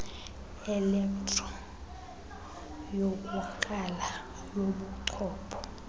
elektro yokukrala kobuchopho